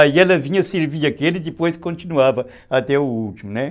Aí ela vinha servir aquele e depois continuava até o último, né.